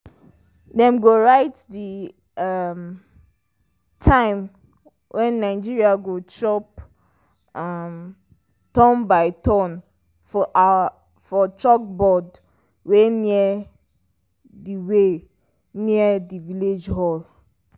dem write the um time when animal go chop um turn-by-turn for chalkboard wey near the wey near the village hall.